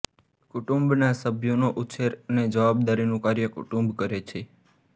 કુટુંબના સભ્યોનો ઉછેર અને જવાબદારીનું કાર્ય કુટુંબ કરે છે